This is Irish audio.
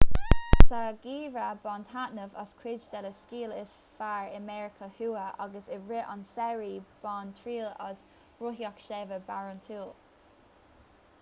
sa gheimhreadh bain taitneamh as cuid de na sciáil is fearr i meiriceá thuaidh agus i rith an tsamhraidh bain triail as rothaíocht sléibhe barántúil